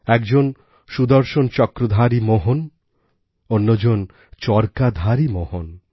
একজন সুদর্শনচক্রধারী মোহন অন্যজন চরকাধারী মোহন